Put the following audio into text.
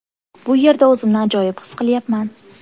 Bu yerda o‘zimni ajoyib his qilyapman.